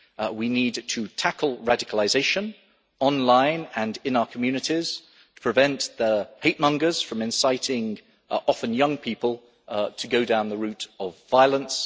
We need to tackle radicalisation online and in our communities and prevent the hatemongers from inciting people, often young people, to go down the route of violence.